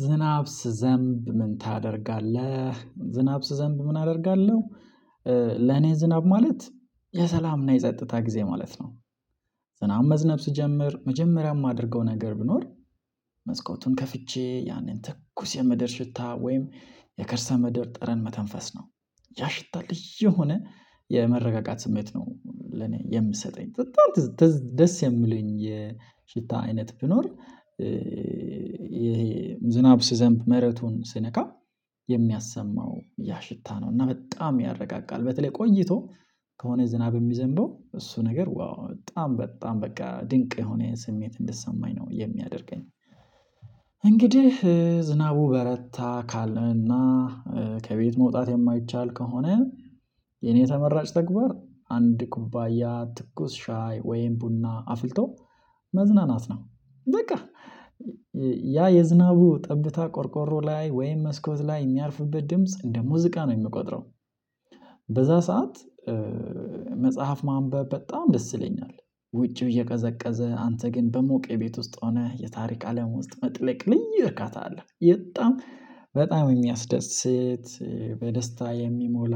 ዝናብ ስዘንብ ምን ታደርጋለህ ዝናብ ስዘንብ ምን አደርጋለሁ? ለኔ ዝናብ ማለት የሰላምና የጸጥታ ጊዜ ማለት ነው። ዝናብ መዝነብ ስጀምር መጀመሪያም ማደርገው ነገር ብኖር መስኮቱን ከፍቼ ያንን ትኩስ የመደር ሽታ ወይም የከርሰ ምድር ጥረን መተንፈስ ነው። ያ ሽታ ልጅ የሆነ የመረጋጋት ስሜት ነው ለኔ የምሰጠኝ በጣም ደስ የሚለኝ የሽታ አይነት ቢኖር። ይሄ ዝናብ ስዘንብ መረቱን ስነካ የሚያሰማው ያ ሽታ ነው እና በጣም ያረጋጋል። በተለይ ቆይቶ ከሆነ ዝናብ የሚዘንበው እሱ ነገር ዋው በጣም በጣም በቃ ድንቅ የሆነ ይሄን ስሜት እንድሰማኝ ነው የሚያደርገኝ። እንግዲህ ዝናቡ በረታ ካለና ከቤት መውጣት የማይቻል ከሆነ የኔ ተመራጭ ተግባር አንድ ኩባያ ትኩስ ሻይ ወይም ቡና አፍልቶ መዝናናት ነው። በቃ ያ የዝናቡ ጠብታ ቆርቆሮ ላይ ወይም መስኮት ላይ የሚያልፍበት ድምጽ እንደ ሙዚቃ ነው የምቆጥረው። በዛ ሰዓት መጽሐፍ ማንበብ በጣም ደስ ይለኛል። ውጪው እየቀዘቀዘ አንተ ግን በሞቀ ቤት ውስጥ ሆነህ የታሪክ አለም ውስጥ መጥለቅ ልይ እርካታ አለህ በጣም በጣም የሚያስደስት በደስታ የሚሞላ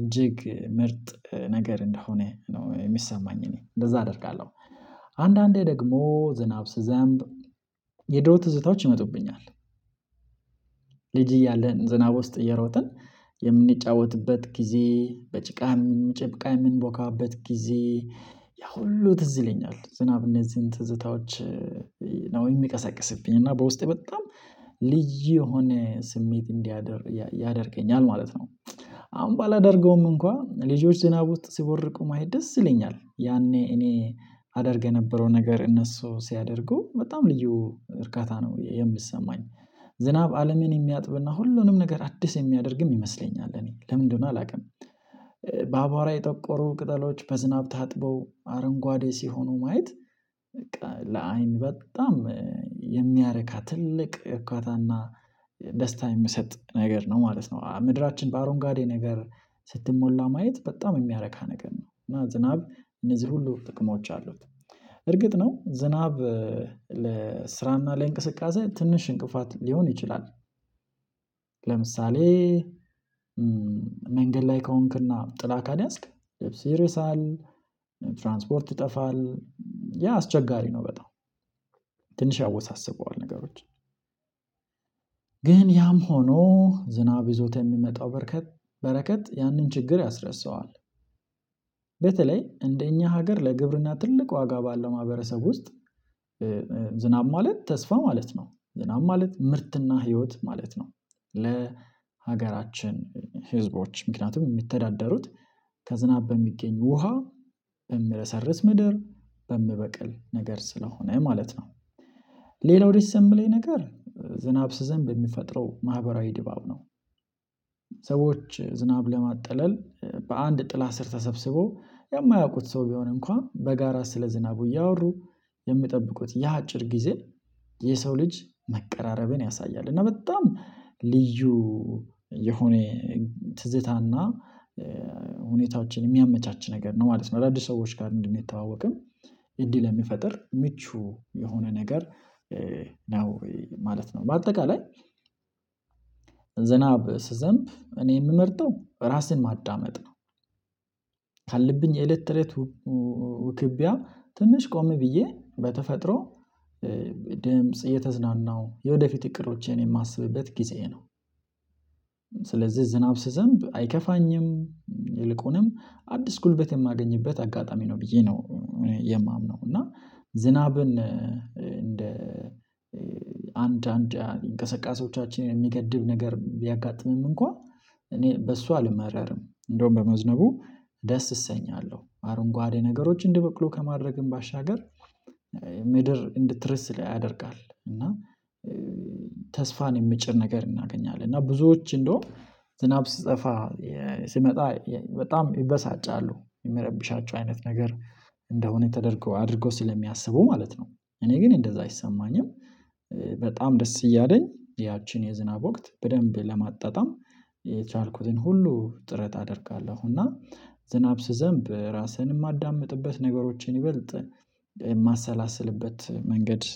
እጅግ ምርጥ ነገር እንደሆነ ነው የሚሰማኝ እኔ እንደዛ አደርጋለሁ። አንዳንዴ ደግሞ ዝናብ የዱሮ ትዝታዎች ይመጡብኛል። ልጅ እያለን ዝናብ ውስጥ እየሮጥን የምንጫወትበት ጊዜ በጭቃ የምንጨብቃ የምንቦካበት ጊዜ ያ ሁሉ ትዝ ይለኛል ዝናብ እነዚህን ትዝታዎች። ነው የሚቀሰቅስብኝ እና በውስጤ በጣም ልዩ የሆነ ስሜት እንዲያደር ያደርገኛል ማለት ነው። አሁን ባላደርገውም እንኳን ልጆች ዝናብ ውስጥ ሲቦርቁ ማየት ደስ ይለኛል ያኔ እኔ አደርገ የነበረው ነገር እነሱ ሲያደርጉ በጣም ልዩ እርካታ ነው የምሰማኝ። ዝናብ አለምን የሚያጥብና ሁሉንም ነገር አዲስ የሚያደርግም ይመስለኛል እኔ ለምንድነው አላውቅም። በአቧራ የጠቆሩ ቅጠሎች በዝናብ ታጥበው አረንጓዴ ሲሆኑ ማየት በቃ ለአይን በጣም የሚያረካ ትልቅ እኳታና ደስታ የምሰጥ ነገር ነው ማለት ነው። ምድራችን በአሮን ጋዴ ነገር ስትሞላ ማየት በጣም የሚያረካ ነገር ነው እና ዝናብ እነዚህ ሁሉ ጥቅሞች አሉት። እርግጥ ነው ዝናብ ለስራና ለእንቅስቃሴ ትንሽ እንቅፋት ሊሆን ይችላል። ለምሳሌ መንገድ ላይ ከሆንክና ጥላ ካልያዝክ ልብስ ይረሳል ትራንስፖርት ይጠፋል አስቸጋሪ ነው በጣም ትንሽ ያወሳስበዋል ነገሮች ግን ያም ሆኖ ዝናብ ይዞት የሚመጣው በረከት ያንን ችግር ያስረሳዋል። እንደኛ ሀገር ለግብርና ትልቅ ዋጋ ባለው ማህበረሰብ ውስጥ ዝናብ ማለት ተስፋ ማለት ነው ዝናብ ማለት ምርትና ህይወት ማለት ነው። ለሀገራችን ህዝቦች ምክንያቱም የሚተዳደሩት ከዝናብ በሚገኝ ውሃ በምረሰርስ ምድር በምበቅል ነገር ስለሆነ ማለት ነው። ሌላው ደስ የምለኝ ነገር ዝናብ ስዘንብ የሚፈጥረው ማህበራዊ ድባብ ነው። ሰዎች ዝናብ ለማጥለል በአንድ ጥላ ስር ተሰብስበው የማያውቁት ሰው ቢሆን እንኳን በጋራ ስለ ዝናቡ እያወሩ የሚጠብቁት ያ አጭር ጊዜ የሰው ልጅ መቀራረብን ያሳያል እና በጣም ልዩ የሆነ ትዝታና ሁኔታዎችን የሚያመቻች ነገር ነው ማለት ነው። አዳዲስ ሰዎች ጋር እንደሚተዋወቅም እድል ለሚፈጥር ምቹ የሆነ ነገር ነው ማለት ነው። በአጠቃላይ ዝናብ ስዘንብ እኔ የምመርጠው ራሴን ማዳመጥ ነው። ካለብኝ የኤሌክትሬት ውክብያ ትንሽ ቆመ ብዬ በተፈጥሮ ድምጽ እየተዝናናው የወደፊት እቅዶችን የማስብት ጊዜ ነው። ስለዚህ ዝናብ ስዘንብ አይከፋኝም። ይልቁንም አዲስ ጉልበት የማገኝበት አጋጣሚ ነው ብዬ ነው የማምነው። እና ዝናብን እንደ አንድ አንድ እንቅስቃሴዎቻችን የሚገድብ ነገር ቢያጋጥምም እንኳን እኔ በሷ አልመረርም። እንደውም በመዝነቡ ደስ እሰኛለሁ አረንጓዴ ነገሮችን እንዲበቅሉ ከማድረግም ባሻገር ምድር እንድትረስ ላይ ያደርጋል እና ተስፋን የምጭር ነገር እናገኛለን። እና ብዙዎች እንደውም ዝናብ ስጠፋ ስመጣ በጣም ይበሳጫሉ የሚረብሻቸው አይነት ነገር እንደሆነ ተደርጎ አድርጎ ስለሚያስቡ ማለት ነው። እኔ ግን እንደዛ አይሰማኝም። በጣም ደስ እያለኝ ያቺን የዝናብ ወቅት በደንብ ለማጣጣም የቻልኩትን ሁሉ ጥረት አደርጋለሁ። እና ዝናብ ስዘንብ ራስህን የማዳምጥበት ነገሮችን ይበልጥ የማሰላስልበት መንገድ